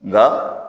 Nka